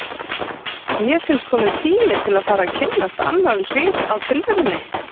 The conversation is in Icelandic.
Mér fannst kominn tími til að fara að kynnast annarri hlið á tilverunni.